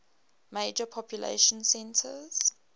major population centers